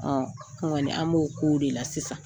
Ɔ an kɔni, an b'o ko de la sisan.